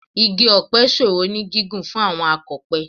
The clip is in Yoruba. Igi ọ̀pẹ ṣòro ní gígùn fún àwọn akọ̀pẹ